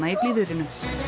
blíðviðrinu